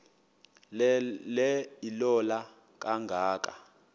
le ilola kangaka